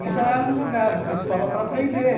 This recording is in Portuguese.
E já eram jogados na escola para aprender.